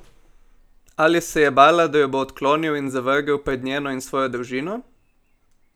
Ali se je bala, da jo bo odklonil in zavrgel pred njeno in svojo družino?